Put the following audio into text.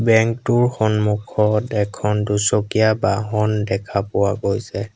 Bank টোৰ সন্মুখত এখন দুচকীয়া বাহন দেখা পোৱা গৈছে।